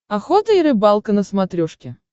охота и рыбалка на смотрешке